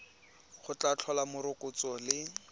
go tla tlhola morokotso le